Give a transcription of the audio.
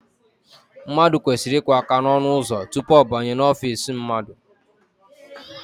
Mmadụ kwesịrị iku aka n'ọnụụzọ tupu ọ banye n'ofiisi mmadụ